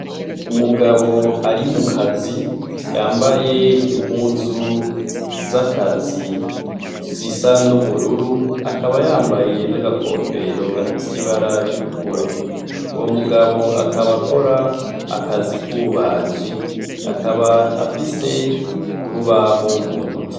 Umugabo ari mukazi yambaye impuzu z'akazi sisa n'ubururu akaba yambaye n'agakofero gafise ibara itukura uwo mugabo akabakora akazi k'ububaji akaba afise urubahumu.